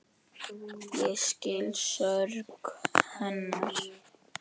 Ég skil sorg hennar.